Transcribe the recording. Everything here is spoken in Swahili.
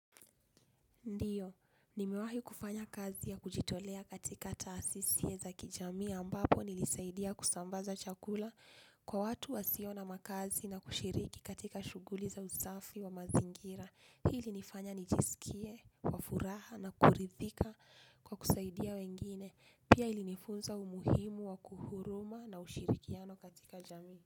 Ndiyo, nimewahi kufanya kazi ya kujitolea katika taasisi za kijamii ambapo nilisaidia kusambaza chakula kwa watu wasio na makazi na kushiriki katika shughuli za usafi wa mazingira. Hili ilinifanya nijisikie wa furaha na kuridhika kwa kusaidia wengine. Pia ilinifunza umuhimu wa kuhuruma na ushirikiano katika jamii.